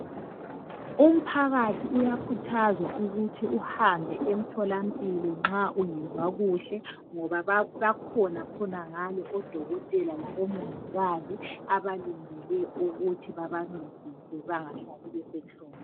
Umphakathi uyakhuthazwa ukuthi uhambe emtholampilo nxa ungezwa kuhle ngoba bakhona khonangale odokotela labomongikazi abalindele ukuthi bebancedise bengahlali besenhlungwini.